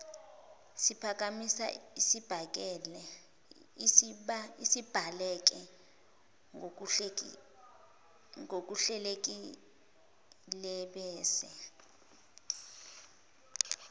siphakamiso esibhaleke ngokuhlelekilebese